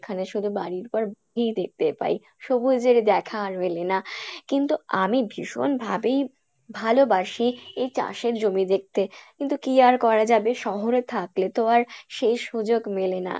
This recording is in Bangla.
এখানে শুধু বাড়ির পর বাড়ি দেখতে পায়, সবুজের দেখা আর মেলে না কিন্তু আমি ভীষন ভাবেই ভালোবাসি এই চাষের জমি দেখতে কিন্তু কী আর করা যাবে শহরে থাকলে তো আর সেই সুযোগ মেলে না।